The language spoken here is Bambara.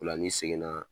O la n'i seginna